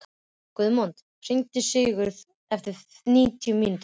Guðmon, hringdu í Sigurðu eftir níutíu mínútur.